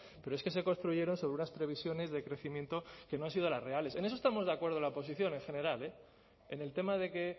pero es que se construyeron sobre unas previsiones de crecimiento que no han sido las reales en eso estamos de acuerdo la oposición en general en el tema de que